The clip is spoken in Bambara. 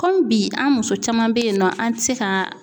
Kɔmi bi an muso caman bɛ yen nɔ an tɛ se ka